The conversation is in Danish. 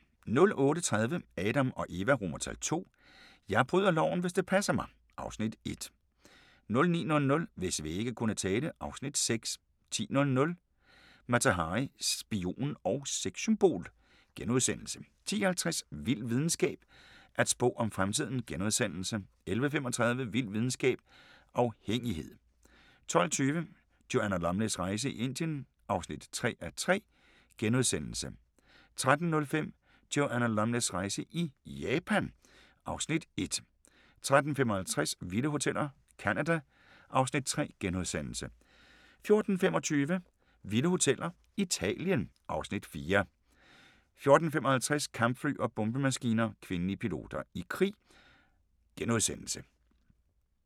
08:30: Adam & Eva II: Jeg bryder loven, hvis det passer mig! (Afs. 1) 09:00: Hvis vægge kunne tale (Afs. 6) 10:00: Mata Hari – spion og sexsymbol * 10:50: Vild videnskab: At spå om fremtiden * 11:35: Vild videnskab: Afhængighed 12:20: Joanna Lumleys rejse i Indien (3:3)* 13:05: Joanna Lumleys rejse i Japan (Afs. 1) 13:55: Vilde Hoteller – Canada (Afs. 3)* 14:25: Vilde Hoteller – Italien (Afs. 4) 14:55: Kampfly og bombemaskiner – kvindelige piloter i krig *